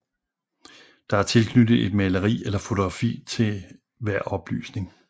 Der er tilknyttet et maleri eller fotografi til hver oplysning